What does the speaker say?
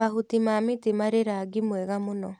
Mahuti ma mĩtĩ marĩ rangi mwega mũno.